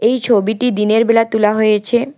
এই ছবিটি দিনের বেলা তোলা হয়েছে।